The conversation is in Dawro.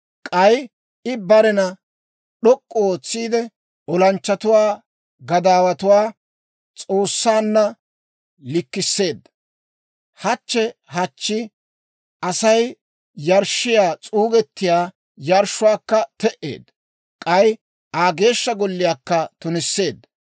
K'ay I barena d'ok'k'u ootsiide, olanchchatuwaa Gadaawuwaa S'oossaanna likkisseedda. Hachche hachchi Asay yarshshiyaa s'uugetiyaa yarshshuwaakka te"eedda. K'ay Aa Geeshsha Golliyaakka tunisseedda.